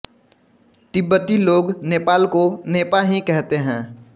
तिब्बती लोग नेपाल को नेपा ही कहते हैं